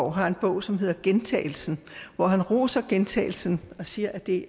har en bog som hedder gjentagelsen hvor han roser gentagelsen og siger at det